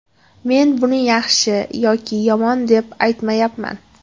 Men buni yaxshi yoki yomon deb aytmayapman.